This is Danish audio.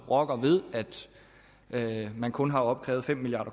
rokker ved at man kun har opkrævet fem milliard